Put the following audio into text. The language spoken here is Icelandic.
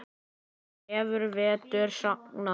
Krefur vetur sagna.